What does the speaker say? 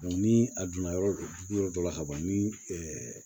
ni a donna yɔrɔ dugu yɔrɔ dɔ la ka ban ni